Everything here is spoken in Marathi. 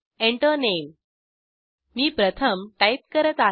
Enter Name मी प्रथम टाईप करत आहे